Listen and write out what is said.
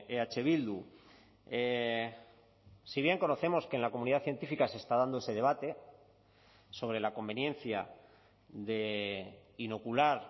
eh bildu si bien conocemos que en la comunidad científica se está dando ese debate sobre la conveniencia de inocular